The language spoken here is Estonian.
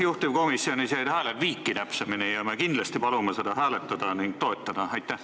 Juhtivkomisjonis jäid hääled viiki ning me kindlasti palume seda hääletada ja toetada!